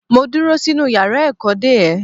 Mo dúró sínú yàrá ẹ̀kọ́ dè ẹ́.